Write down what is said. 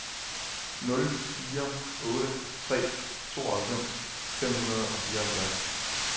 nul fire otte tre tooghalvfems fem hundrede og fireoghalvfjerds